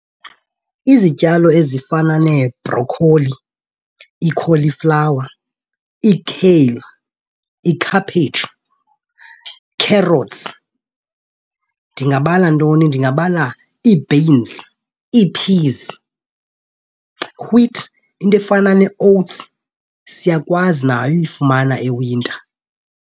Izityalo ezifana nee-brocolli, ii-cauliflower, ii-kale, ikhaphetshu, carrots. Ndingabala ntoni? Ndingabala ii-beans, ii-peas, wheat, into efana nee-oats siyakwazi nayo uyifumana e-winter.